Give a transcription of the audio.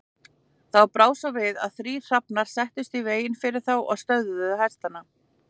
Þá brá svo við að þrír hrafnar settust í veginn fyrir þá og stöðvuðu hestana.